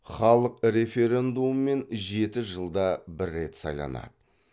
халық референдумымен жеті жылда бір рет сайланады